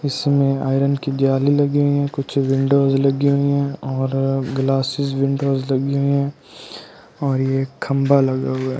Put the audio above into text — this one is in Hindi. इसमें आयरन की जाली लगी हुई है कुछ विंडोज लगी हुई हैं और ग्लासेस विंडोज लगी हुई हैं और ये खंबा लगा हुआ है।